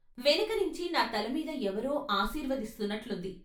వెనకనించి నా తల మీద ఎవరో ఆశీర్వ దిస్తున్నట్లుంది.